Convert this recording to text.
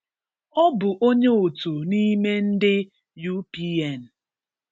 Ọ bụ onye otu n'ime ndị UPN.